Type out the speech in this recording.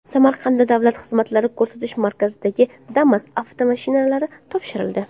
Samarqandda davlat xizmatlari ko‘rsatish markazlariga Damas avtomashinalari topshirildi.